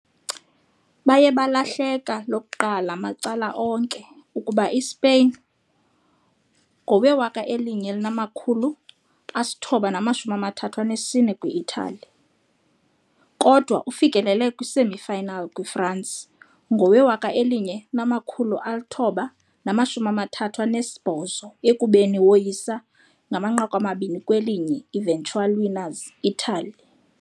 Baye balahleka lokuqala macala onke, ukuba Spain ngowe - 1934 kwi - Italy, kodwa ufikelele semi-finals kwi - France ngowe - 1938, ekubeni woyisa ngo 2-1 eventual winners Italy.